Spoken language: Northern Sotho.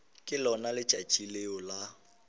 ke lona letšatši leo la